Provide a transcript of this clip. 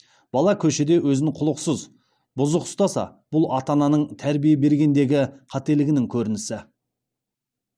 бала көшеде өзін құлықсыз бұзық ұстаса бұл ата ананың тәрбие бергендегі қателігінің көрінісі